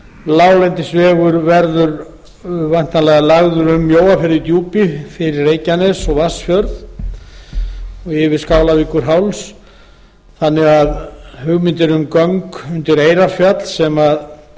láglendisvegur verður væntanlega lagður um mjóafjörð í djúpi fyrir reykjanes og vatnsfjörð og yfir skálavíkurháls þannig að hugmyndir um göng undir eyrarfjall sem